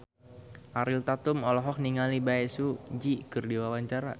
Ariel Tatum olohok ningali Bae Su Ji keur diwawancara